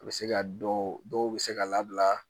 A bɛ se ka dɔw bɛ se ka labila